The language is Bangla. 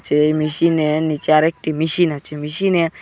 এই মিশীনের নীচে আরেকটি মিশীন আছে মিশীনের--